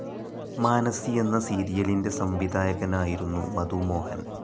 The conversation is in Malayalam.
മാനസി എന്ന സീരിയലിൻ്റെ സംവിധായകനായിരുന്നു മധു മോഹൻ.